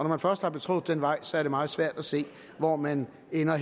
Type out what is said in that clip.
man først har betrådt den vej er det meget svært at se hvor man ender